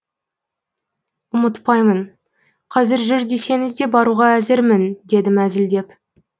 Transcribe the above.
ұмытпаймын қазір жүр десеңіз де баруға әзірмін дедім әзілдеп